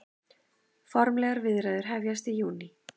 Formlegar viðræður hefjast í júní